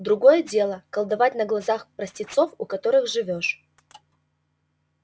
другое дело колдовать на глазах простецов у которых живёшь